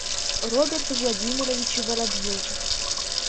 роберту владимировичу воробьеву